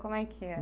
Como é que era?